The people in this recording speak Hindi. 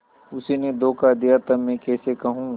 उसी ने धोखा दिया तब मैं कैसे कहूँ